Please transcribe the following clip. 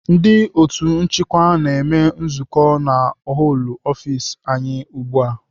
Ndị otu nchịkwa na-eme nzukọ na họlụ ọfis anyị ugbu a.